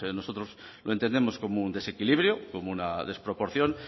nosotros lo entendemos como un desequilibrio como una desproporción